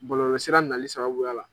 Bɔlɔlɔsira nali sababuya la.